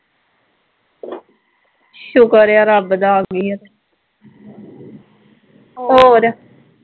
ਸੁਕਰ ਐ ਰੱਬ ਦਾ ਆਗੀ ਐ ਤੇ ਹੋਰ